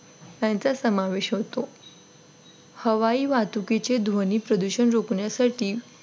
यांचा समावेश होतो हवाई वाहतुकीचे ध्वनी प्रदूषण रोखण्या साठी